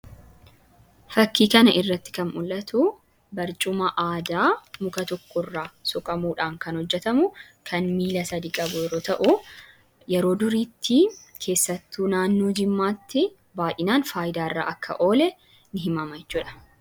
fakkii kana irratti kan mul'atu barcuma aadaa muka tokko irraa suqamuudhaan kan hojjetamu kan miila sadii qabu yeroo ta'u yeroo duriitti keessattuu naannoo jimmaatti baay'inaan faayidaa irraa akka oole ni himama jechuudha.